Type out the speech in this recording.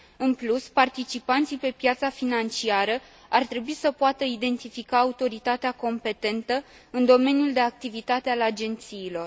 În plus, participanții pe piața financiară ar trebui să poată identifica autoritatea competentă în domeniul de activitate al agențiilor.